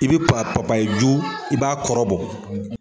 I bi i b'a kɔrɔ bɔ.